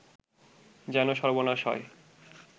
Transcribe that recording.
যেন সর্বনাশ হয়